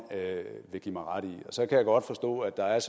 vil give mig ret i så kan jeg godt forstå at der er